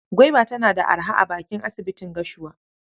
Gwaiba tana da araha a bakin asibitin Gashua.